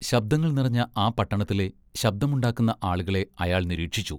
ശബ്ദങ്ങൾ നിറഞ്ഞ ആ പട്ടണത്തിലെ ശബ്ദമുണ്ടാക്കുന്ന ആളുകളെ അയാൾ നിരീക്ഷിച്ചു.